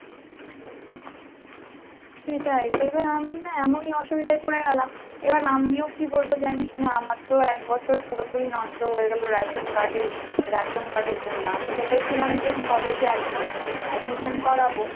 সেটাই তবে আমি না এমনই অসুবিধায় পরে গেলাম এবার আমিও কী বলবো জানিসনা আমার তো এক বছর পুরোপুরি নষ্ট হয়ে গেলো ration card এ ration card এর জন্য, আমি ভেবেছিলাম যে college এ একমাস admission করাবো